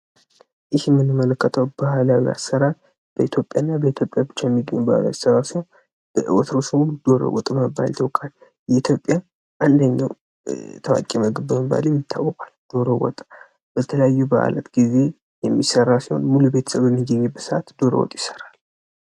ይህ የምንመለከተው ባህላዊ አሰራር በኢትዮጵያ እና በኢትዮጵያ ብቻ የሚገኝ ባህላዊ አሰራር ሲሆን በድሮ ስሙ ደሮ ወጥ በመባል ይታወቃል። የኢትዮጵያ አንደኛ ታዋቂው ምግብ በመባል ይታወቃል። ደሮ ወጥ በተለያዩ በዓላት ጊዜ የሚሰራ ሲሆን ሙሉ ቤተሰብ በሚገኙበት ጊዜ ዶሮ ወጥ ይሰራል።